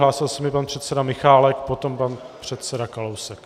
Hlásil se mi pan předseda Michálek, potom pan předseda Kalousek.